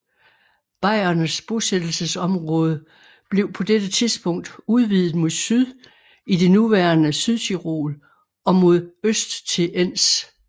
Bayernes bosættelsesområde blev på dette tidspunkt udvidet mod syd i det nuværende Sydtyrol og mod øst til Enns